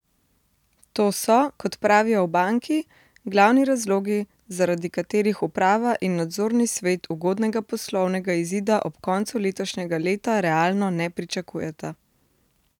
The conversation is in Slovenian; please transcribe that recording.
To so, kot pravijo v banki, glavni razlogi, zaradi katerih uprava in nadzorni svet ugodnega poslovnega izida ob koncu letošnjega leta realno ne pričakujeta.